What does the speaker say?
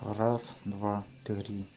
раз два три